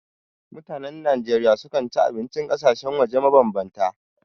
Mutanen Najeriya sukan ci abincin ƙasashen waje mabambanta.